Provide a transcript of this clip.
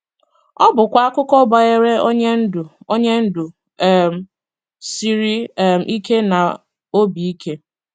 Ọ bụkwa akụkọ banyere onye ndu onye ndu um siri um ike na obi ike.